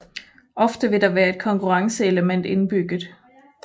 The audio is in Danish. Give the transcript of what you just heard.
Ofte vil der være et konkurrenceelement indbygget